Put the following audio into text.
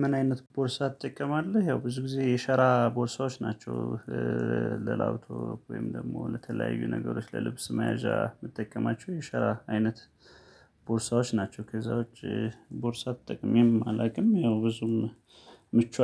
ምን አይነት ቦርሳ ትጠቀማለህ? ያው ብዙ ጊዜ የሸራ ቦርሳዎች ናቸው ለላፕቶፕ ወይም ደግሞ ለተለያዩ ነገሮች ለልብስ መያዣ የምትጠቀማቸው የሸራ አይነት ቦርሳዎች ናቸው። ከዛ ውጪ ቦርሳ ተጠቅሜ አላውቅም፤ ያው ብዙም ምቹ